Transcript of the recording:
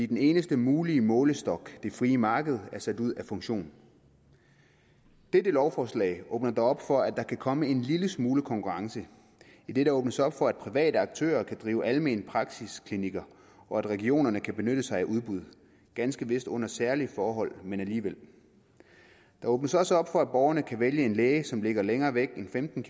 den eneste mulige målestok det frie marked er sat ud af funktion dette lovforslag åbner dog op for at der kan komme en lille smule konkurrence idet der åbnes op for at private aktører kan drive almene praksisklinikker og at regionerne kan benytte sig af udbud ganske vist under særlige forhold men alligevel der åbnes også op for at borgerne kan vælge en læge som ligger længere væk end femten